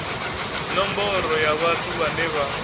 nomboro ya vhathu vhane vha